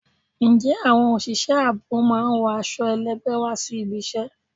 Ǹjẹ́ àwọn òṣìṣẹ́ ààbò máa ń wọ aṣọ ẹlẹgbẹ wá sí ibi ìṣe?